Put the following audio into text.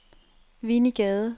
Winnie Gade